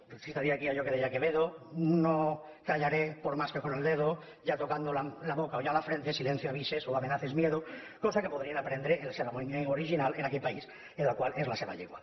citaria aquí allò que deia que·vedo no callaré por más que con el dedo ya tocan·do la boca o ya la frente silencio avises o amenaces miedo cosa que podrien aprendre en la seva llengua original en aquell país en el qual és la seva llengua